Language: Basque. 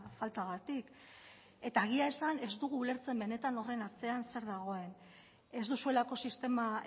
faltagatik eta egia esan ez dugu ulertzen benetan horren atzean zer dagoen ez duzuelako sistema